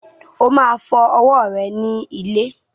O máa fọ ọwọ́ rẹ ní ilé.